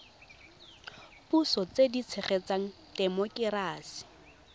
puso tse di tshegetsang temokerasi